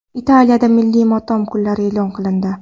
Italiyada milliy motam kunlari e’lon qilindi.